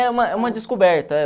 É uma uma descoberta.